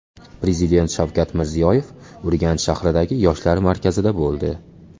Prezident Shavkat Mirziyoyev Urganch shahridagi Yoshlar markazida bo‘ldi.